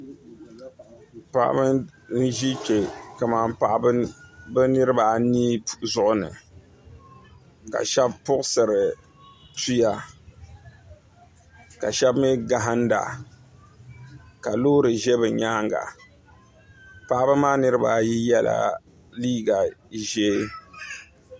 Paɣaba n ʒi kpɛ kamani bi niraba anii zuɣu ni ka shab puɣusiri tuya ka shab mii gahanda ka loori ʒɛ bi nyaanga paɣaba maa niraba ayi yɛla liiga ʒiɛ